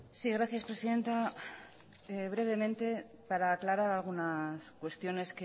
sí gracias presidenta brevemente para aclarar algunas cuestiones